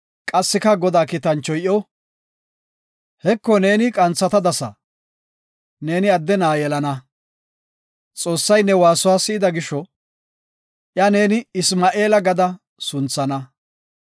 Qassika Godaa kiitanchoy iyo, “Heko neeni qanthatadasa, Neeni adde na7a yelana. Xoossay ne waasuwa si7ida gisho Iya neeni Isma7eela gada sunthana